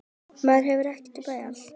Maður hefur ekkert val.